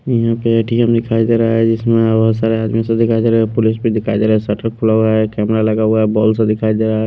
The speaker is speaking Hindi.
यहाँ पे ए_ टी_ एम_ दिखाई दे रहा है जिसमें बहुत सारे आदमी सब दिखाई दे रहे पुलिस भी दिखाई दे रहा है शटर खुला हुआ है कैमरा लगा हुआ है सा दिखाई दे रहा--